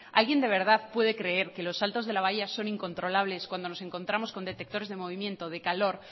alguien de verdad puede creer que los saltos de la valla son incontrolables cuando nos encontramos con detectores de movimiento de calor